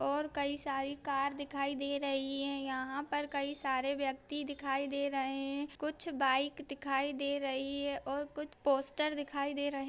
और कई सारी कार दिखाई दे रही हैं | यहाँ पर कई सारे व्यक्ति दिखाई दे रहे हैं | कुछ बाइक दिखाई दे रही है और कुछ पोस्टर दिखाई दे रहे--